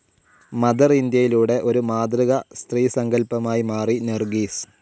Mother ഇന്ത്യയിലൂടെ ഒരു മാതൃക സ്ത്രീസങ്കൽപമായി മാറി നർഗീസ്.